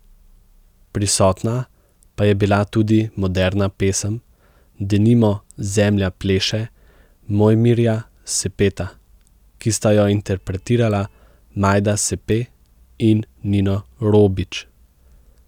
Prisotna pa je bila tudi moderna pesem, denimo Zemlja pleše Mojmirja Sepeta, ki sta jo interpretirala Majda Sepe in Nino Robič.